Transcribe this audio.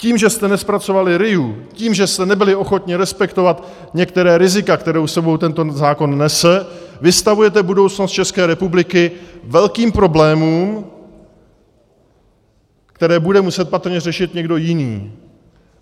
Tím, že jste nezpracovali RIA, tím, že jste nebyli ochotni respektovat některá rizika, která s sebou tento zákon nese, vystavujete budoucnost České republiky velkým problémům, které bude muset patrně řešit někdo jiný.